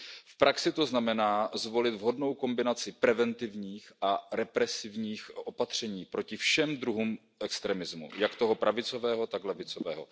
V praxi to znamená zvolit vhodnou kombinaci preventivních a represivních opatření proti všem druhům extremismu jak toho pravicového, tak toho levicového.